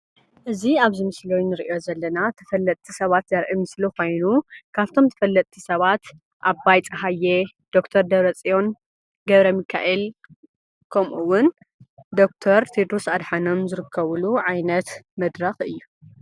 እዚ ኣብዚ ምስሊ እንሪኦ ዘለና ተፈለጥቲ ሰባት ዘርኢ ምስሊ ኮይኑ ካፍቶም ተፈለጥቲ ሰባት ኣባይ ፀሃየ፣ ዶ/ር ደብረፅዮን ገ/ሚከኤል ከምኡ እውን ዶ/ር ቴድሮስ አድሓኖም ዝርከብሉ ዓይነት መድረኽ እዩ።